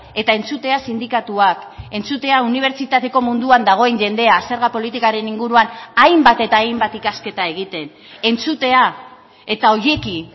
eta entzutea sindikatuak entzutea unibertsitateko munduan dagoen jendea zerga politikaren inguruan hainbat eta hainbat ikasketa egiten entzutea eta horiekin